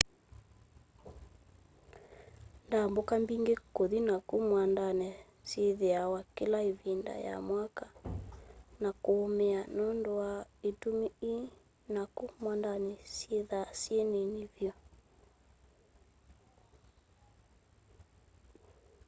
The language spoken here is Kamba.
ndambũka mbĩngĩ kũthi naku mwandanĩ nĩsyĩthĩawa kĩla ĩvindanĩ ya mwaka na kũũmĩa nũndũ wa ĩtũmi ii naku mwandanĩ syĩthaa syĩ nini vyu